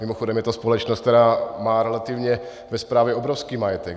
Mimochodem je to společnost, která má relativně ve správě obrovský majetek.